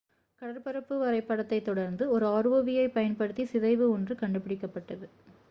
கடற்பரப்பு வரைபடத்தைத் தொடர்ந்து ஒரு rov-ஐப் பயன்படுத்தி சிதைவு ஒன்று கண்டுபிடிக்கப்பட்டது